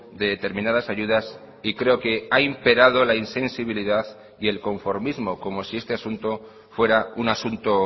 de determinadas ayudas y creo que ha imperado la insensibilidad y el conformismo como si este asunto fuera un asunto